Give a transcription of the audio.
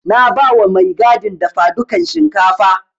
Na bawa mai gadin dafadukan shinkafa.